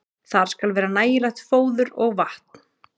Þar skal vera nægilegt fóður og vatn.